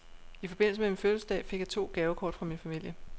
I forbindelse med min fødselsdag fik jeg to gavekort fra min familie.